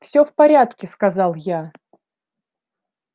всё в порядке сказал я